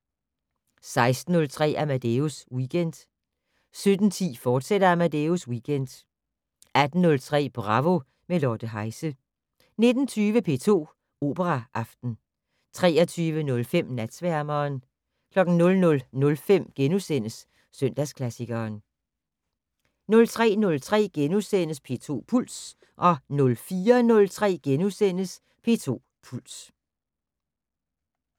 16:03: Amadeus Weekend 17:10: Amadeus Weekend, fortsat 18:03: Bravo - med Lotte Heise 19:20: P2 Operaaften 23:05: Natsværmeren 00:05: Søndagsklassikeren * 03:03: P2 Puls * 04:03: P2 Puls *